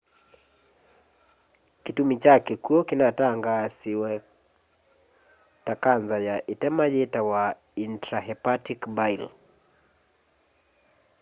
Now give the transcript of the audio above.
kitumi kya kikwu kinatangaasiwe ta kanza ya itema yitawa intrahepatic bile